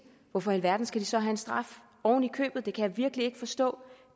hvorfor i alverden skal de så have en straf oven i købet det kan jeg virkelig ikke forstå